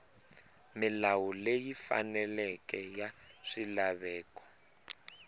milawu leyi faneleke ya swilaveko